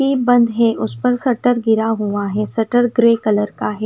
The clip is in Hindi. की बंद है उस पर सटर गिरा हुआ है सटर ग्रे कलर का है।